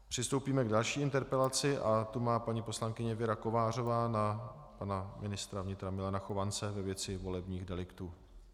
Přistoupíme k další interpelaci a tu má paní poslankyně Věra Kovářová na pana ministra vnitra Milana Chovance ve věci volebních deliktů.